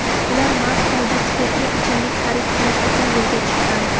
ular mast holda spirtli ichimlik xarid qilish uchun yo‘lga chiqqan.